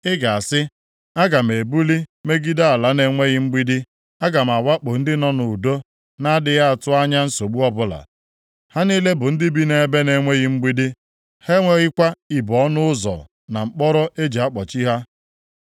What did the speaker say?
Ị ga-asị, “Aga m ebuli megide nʼala na-enweghị mgbidi, aga m awakpo ndị nọ nʼudo na-adịghị atụ anya nsogbu ọbụla, ha niile bụ ndị bi nʼebe na-enweghị mgbidi, ha enweghịkwa ibo ọnụ ụzọ na mkpọrọ e ji akpọchi ha.